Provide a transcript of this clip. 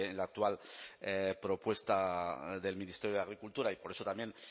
la actual propuesta del ministerio de agricultura y por eso también